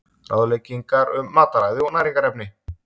ráðleggingar um mataræði og næringarefni